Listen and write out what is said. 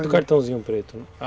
do cartãozinho preto, né?